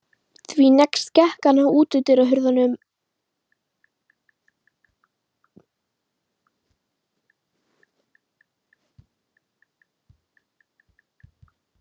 Því næst gekk hann að útidyrunum og opnaði þær.